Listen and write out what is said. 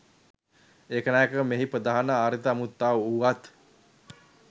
ඒකනායක මෙහි ප්‍රධාන ආරාධිත අමුත්තා වුවත්